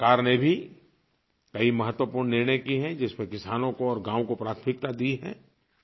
सरकार ने भी कई महत्वपूर्ण निर्णय किए हैं जिसमें किसानों को और गाँवों को प्राथमिकता दी है